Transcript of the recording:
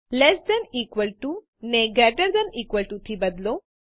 less than equal to ને greater than equal to થી બદલો